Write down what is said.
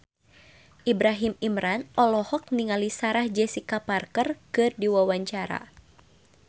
Ibrahim Imran olohok ningali Sarah Jessica Parker keur diwawancara